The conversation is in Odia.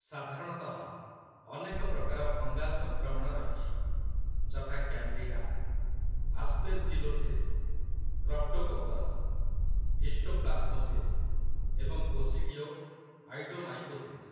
ସାଧାରଣତଃ, ଅନେକ ପ୍ରକାର ଫଙ୍ଗାଲ୍ ସଂକ୍ରମଣ ରହିଛି, ଯଥା, କ୍ୟାନ୍‌ଡିଡା, ଆସ୍ପେର୍ଜିଲୋସିସ୍, କ୍ରପ୍ଟୋକୋକସ୍, ହିଷ୍ଟୋପ୍ଲାସ୍ମୋସିସ୍ ଏବଂ କୋସିଡ଼ିଓ ଆଇଡ଼ୋମାଇକୋସିସ୍‌।